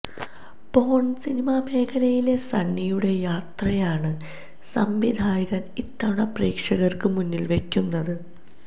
പോണ് സിനിമാ മേഖലയിലെ സണ്ണിയുടെ യാത്രയാണ് സംവിധായകന് ഇത്തവണ പ്രേക്ഷകര്ക്ക് മുന്നില് വയ്ക്കുന്നത്